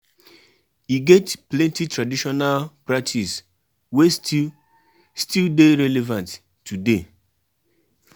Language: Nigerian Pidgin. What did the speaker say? We get as um we dey take settle take settle all our mata wey nobodi dey her pim. um